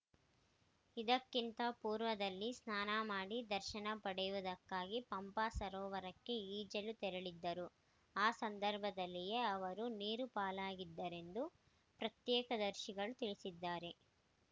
ಇದಕ್ಕಿಂತ ಪೂರ್ವದಲ್ಲಿ ಸ್ನಾನ ಮಾಡಿ ದರ್ಶನ ಪಡೆಯುವುದಕ್ಕಾಗಿ ಪಂಪಾ ಸರೋವರಕ್ಕೆ ಈಜಲು ತೆರಳಿದ್ದರು ಆ ಸಂದರ್ಭದಲ್ಲಿಯೇ ಅವರು ನೀರು ಪಾಲಾಗಿದ್ದಾರೆಂದು ಪ್ರತ್ಯಕ್ಷದರ್ಶಿಗಳು ತಿಳಿಸಿದ್ದಾರೆ